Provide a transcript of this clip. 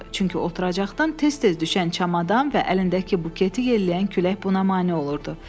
Çünki oturacaqdan tez-tez düşən çamadan və əlindəki buketi yelləyən külək buna mane olurdu.